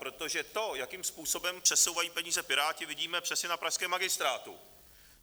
Protože to, jakým způsobem přesouvají peníze Piráti, vidíme přesně na pražském magistrátu.